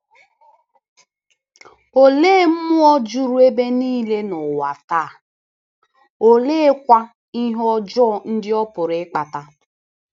Olee mmụọ juru ebe niile n’ụwa taa, oleekwa ihe ọjọọ ndị ọ pụrụ ịkpata?